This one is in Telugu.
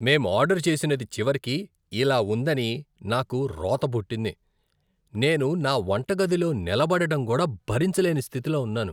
మేం ఆర్డరు చేసినది చివరికి ఇలా ఉందని నాకు రోత పుట్టింది. నేను నా వంటగదిలో నిలబడడం కూడా భరించలేని స్థితిలో ఉన్నాను.